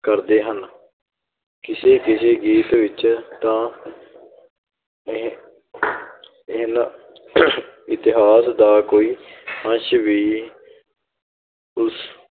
ਕਰਦੇ ਹਨ, ਕਿਸੇ ਕਿਸੇ ਗੀਤ ਵਿੱਚ ਤਾਂ ਇ~ ਇਹਨਾਂ ਇਤਿਹਾਸ ਦਾ ਕੋਈ ਅੰਸ਼ ਵੀ ਉਸ